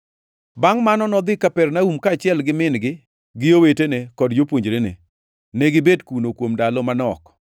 Bangʼ mano nodhi Kapernaum kaachiel gi min-gi gi owetene kod jopuonjrene. Negibet kuno kuom ndalo manok.